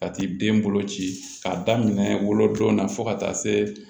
Ka t'i den bolo ci k'a daminɛ wolodon na fo ka taa se